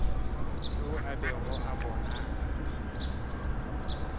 yo a bego a bonala